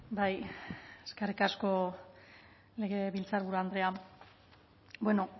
bai eskerrik asko legebiltzarburu andrea bueno